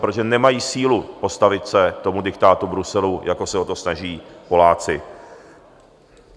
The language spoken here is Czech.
Protože nemají sílu postavit se tomu diktátu Bruselu, jako se o to snaží Poláci.